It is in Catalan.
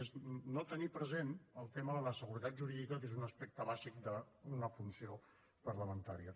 i és no tenir present el tema de la seguretat jurídica que és un aspecte bàsic d’una funció parlamentària